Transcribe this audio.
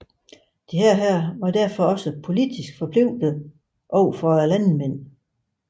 Disse var derfor også politisk forpligtede overfor landmændene